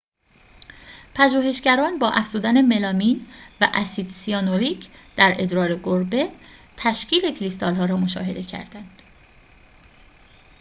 پژوهشگران با افزودن ملامین و اسید سیانوریک در ادرار گربه تشکیل کریستال‌ها را مشاهده کردند